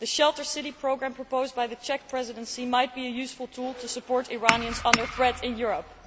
The Shelter City' programme, proposed by the Czech Presidency, might be a useful tool to support Iranians under threat in Europe.